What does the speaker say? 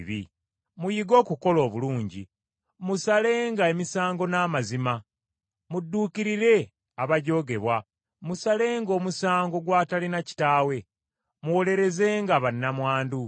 Muyige okukola obulungi, musalenga emisango n’amazima, mudduukirirenga abajoogebwa, musalenga omusango gw’atalina kitaawe, muwolerezenga bannamwandu.